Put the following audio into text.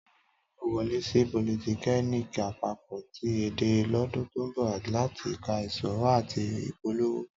Tọ́lání yóò wọlé sí politẹ́kíníìkì àpapọ̀ ti Ẹdẹ lọ́dún tó ń bọ̀ láti ka ìṣòwò àti ìpolówó